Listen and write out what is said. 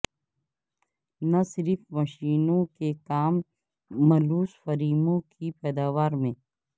نہ صرف مشینوں کے کام ملوث فریموں کی پیداوار میں